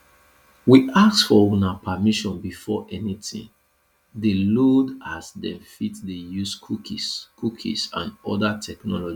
we ask for una permission before anytin dey loaded as dem fit dey use cookies cookies and oda technologies